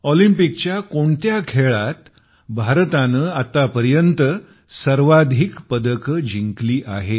ऑलिम्पिकच्या कोणत्या खेळात भारताने आतापर्यंत सर्वाधिक पदक जिंकले आहेत